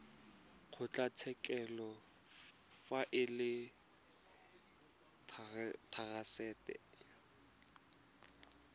kgotlatshekelo fa e le therasete